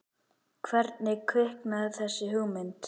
Hvernig kviknaði þessi hugmynd?